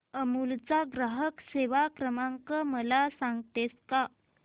अमूल चा ग्राहक सेवा क्रमांक मला सांगतेस का